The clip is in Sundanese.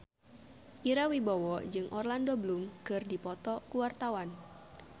Ira Wibowo jeung Orlando Bloom keur dipoto ku wartawan